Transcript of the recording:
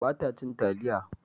Ba ta cin taliya